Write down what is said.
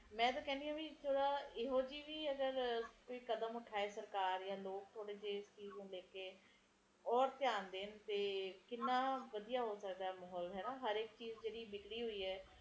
ਹੁਣ ਤੇ ਦਿੱਲੀ ਤੇ ਬੰਗਲੌਰ ਸਾਰੇ ਕੀਤੇ ਇੱਕੋ ਹੀ ਹਾਲ ਹੈ ਹੁਣ ਤਾ ਸਾਰੇ ਕੀਤੇ ਫੈਕਟਰੀਆਂ ਲੱਗ ਚੁੱਕਿਆ ਨੇ ਛੋਟੇ ਛੋਟੇ ਘਰਾਂ ਵਿਚ ਲੋਕਾਂ ਦੀਆ ਲਗਾਇਆ ਹੋਇਆ ਤੇ ਕਾਮ ਹੈ ਨੀ ਕਰਨ ਨੂੰ ਲੋਕੀ ਵੀ ਕਿ ਕਰਨ ਪ੍ਰਦੂਸ਼ਣ ਵਧਦਾ ਜਾ ਰਿਹਾ ਹੈ